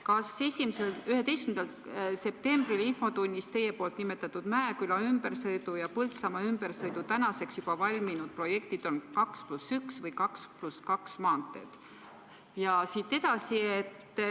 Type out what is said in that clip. Kas 11. septembri infotunnis teie nimetatud Mäeküla ümbersõidu ja Põltsamaa ümbersõidu tänaseks juba valminud projektid on 2 + 1 või 2 + 2 maanteed?